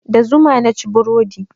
Da zuma naci burodi.